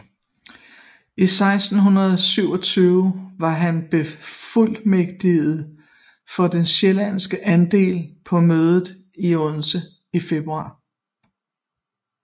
I 1627 var han befuldmægtiget for den sjællandske adel på mødet i Odense i februar